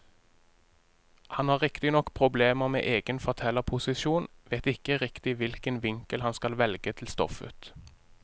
Han har riktignok problemer med egen fortellerposisjon, vet ikke riktig hvilken vinkel han skal velge til stoffet.